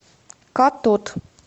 катод